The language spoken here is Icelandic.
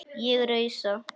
Ég rausa.